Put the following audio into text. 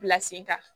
Bila sen kan